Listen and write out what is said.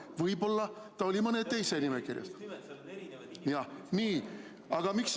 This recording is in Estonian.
Võib-olla ta oli mõne teise nimekirjas.